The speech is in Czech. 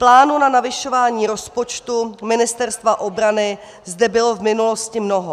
Plánů na navyšování rozpočtu Ministerstva obrany zde bylo v minulosti mnoho.